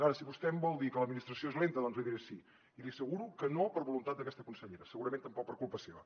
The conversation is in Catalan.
ara si vostè em vol dir que l’administració és lenta doncs li diré que sí i li asseguro que no per voluntat d’aquesta consellera segurament tampoc per culpa seva